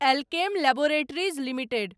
Alkem Laboratories limited